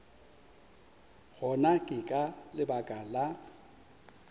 gona ke ka lebaka la